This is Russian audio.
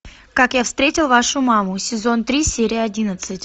как я встретил вашу маму сезон три серия одиннадцать